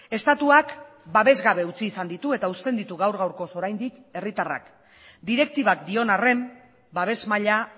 estatuak babesgabe utzi izan ditu eta uzten ditu gaur gaurkoz oraindik herritarrak direktibak dion arren babes maila